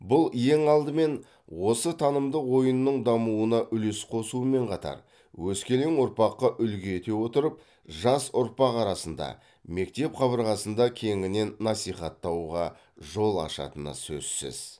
бұл ең алдымен осы танымдық ойынның дамуына үлес қосумен қатар өскелең ұрпаққа үлгі ете отырып жас ұрпақ арасында мектеп қабырғасында кеңінен насихаттауға жол ашатыны сөзсіз